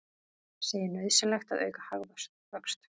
Segir nauðsynlegt að auka hagvöxt